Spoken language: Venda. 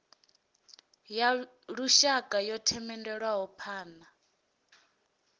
ya lushaka yo themendelwaho phana